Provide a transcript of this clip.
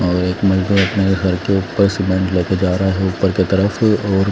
और एक मजदूर अपने घर के ऊपर सीमेंट ले के जा रहा है ऊपर के तरफ और--